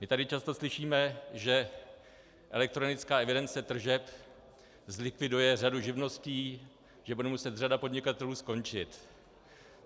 My tady často slyšíme, že elektronická evidence tržeb zlikviduje řadu živností, že bude muset řada podnikatelů skončit.